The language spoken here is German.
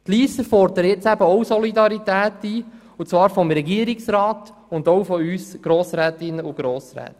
Die Lysser fordern jetzt eben auch Solidarität ein und zwar vom Regierungsrat und auch von uns Grossrätinnen und Grossräten.